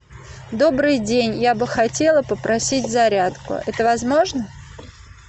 добрый день я бы хотела попросить зарядку это возможно